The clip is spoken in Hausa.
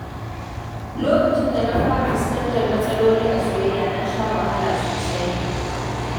Lokacin da na fara fuskantar matsaloli a soyayya, na sha wahala sosai.